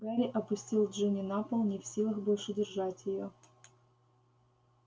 гарри опустил джинни на пол не в силах больше держать её